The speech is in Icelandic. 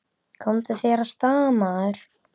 Komdu þér af stað, maður!